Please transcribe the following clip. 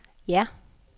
ja